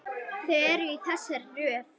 Þau eru í þessari röð: